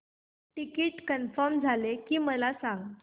ticket confirm झाले की मला सांग